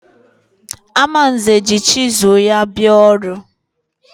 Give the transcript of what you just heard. Amanze ji chizụl ya bịa ọrụ.